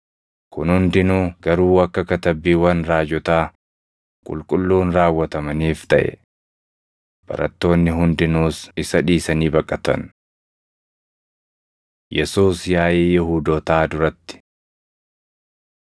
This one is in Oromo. Kun hundinuu garuu akka Katabbiiwwan raajotaa Qulqulluun raawwatamaniif taʼe.” Barattoonni hundinuus isa dhiisanii baqatan. Yesuus Yaaʼii Yihuudootaa Duratti 26:57‑68 kwf – Mar 14:53‑65; Yoh 18:12,13,19‑24